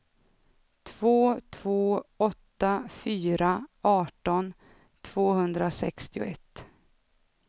två två åtta fyra arton tvåhundrasextioett